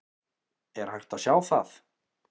Er hægt að sjá það?